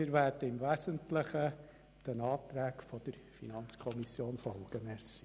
Wir werden im Wesentlichen den Anträgen der FiKo folgen.